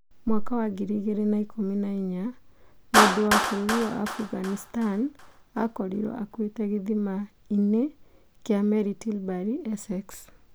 2014: Mũndũ wa bũrũri wa Aafghanistan akorirwo aakuĩte gĩthima-inĩ kĩa meri Tilbury, Essex.